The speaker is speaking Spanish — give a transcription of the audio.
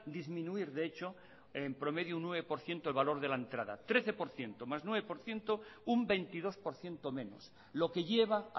disminuir de hecho en promedio un nueve por ciento el valor de la entrada trece por ciento más nueve por ciento un veintidós por ciento menos lo que lleva